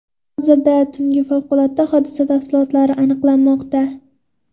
Hozirda tungi favqulodda hodisa tafsilotlari aniqlanmoqda.